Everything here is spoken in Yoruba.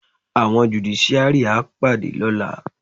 Àwọn jùdíṣíárì á pàdé lọ́la.